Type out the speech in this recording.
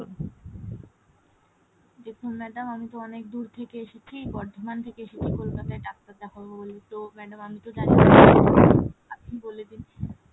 দেখুন madam আমি তো অনেক দূর থেকে এসেছি বর্ধমান থেকে এসেছি কলকাতায় ডাক্তার দেখাবো বলে তো madam আমি তো জানিনা আপনি বলে দিন ?